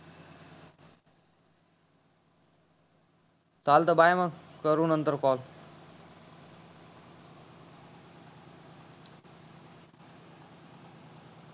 चालत बाय मंग करू नंतर कॉल